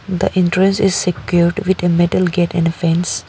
The entrance is secured with a metal gate an a fence.